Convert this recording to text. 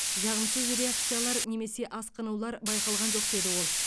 жағымсыз реакциялар немесе асқынулар байқалған жоқ деді ол